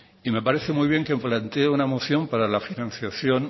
y me parece muy bien que plantee una moción para la financiación